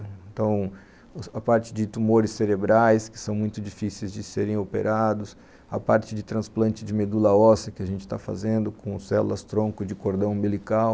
Então, a parte de tumores cerebrais que são muito difíceis de serem operados, a parte de transplante de medula óssea que a gente está fazendo com células-tronco de cordão umbilical,